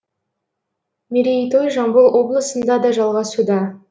мерейтой жамбыл облысында да жалғасуда